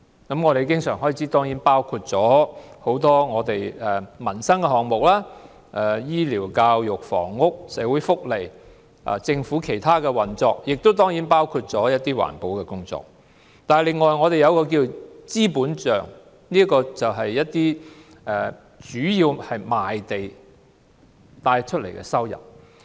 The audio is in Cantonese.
經常開支包括不少民生項目，例如醫療、教育、房屋、社會福利及政府其他運作，當然也包括一些環保工作；二是資本帳，主要來自賣地的收入。